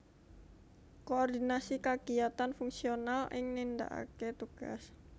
Koordinasi kagiyatan fungsional ing nindakaké tugas